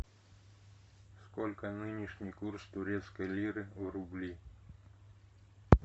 сколько нынешний курс турецкой лиры в рубли